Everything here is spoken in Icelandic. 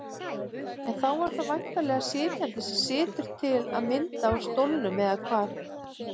En þá er það væntanlega sitjandinn sem situr til að mynda á stólnum, eða hvað?